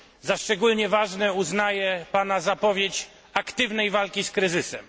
Za szczególnie ważne uznaję pana zapowiedź aktywnej walki z kryzysem.